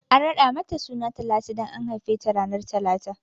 An raɗa mata suna Talatu dan an haife ta ranar talata ne